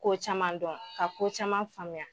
Ko caman dɔn ka ko caman faamuya.